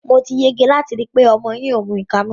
Mo ti yege láti rí i pé ọmọ ẹ kò mu ìka mọ́.